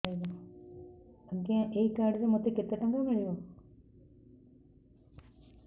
ଆଜ୍ଞା ଏଇ କାର୍ଡ ରେ ମୋତେ କେତେ ଟଙ୍କା ମିଳିବ